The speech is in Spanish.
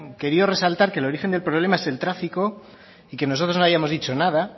querido resaltar que el origen del problema es el tráfico y que nosotros no hayamos dicho nada